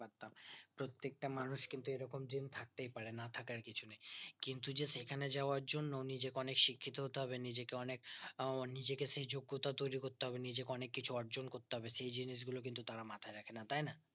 প্রত্যেকটা মানুষ কিন্তু এইরকম দিন থাকতেই পারে না থাকার কিছু নেই কিন্তু যে সেখানে যাবার জন্য নিজেকে অনিক শিক্ষিত হতে হবে নিজেকে অনিক আহ নিজেকে সেই যোগতা তৈরী করতে হবে নিজেকে অনেক কিছু অর্জন করতে হবে সেই জিনিস গুলো কিন্তু তারা মাথায় রাখেন